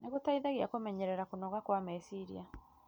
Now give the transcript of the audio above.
nĩ gũteithagia kũmenyerera kũnoga kwa meciria.